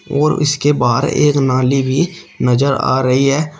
और इसके बाहर एक नाली भी नजर आ रही है।